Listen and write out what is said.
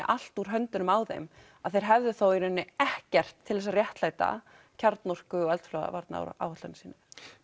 allt úr höndunum á þeim að þeir hefðu þá í rauninni ekkert til þess að réttlæta kjarnorku og eldflaugaáætlun sína